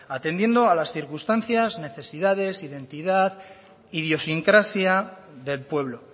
atendiendo a las circunstancias necesidades identidad idiosincrasia del pueblo